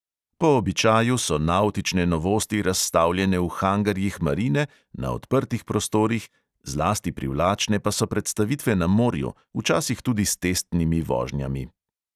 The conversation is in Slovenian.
Po običaju so navtične novosti razstavljene v hangarjih marine, na odprtih prostorih, zlasti privlačne pa so predstavitve na morju, včasih tudi s testnimi vožnjami.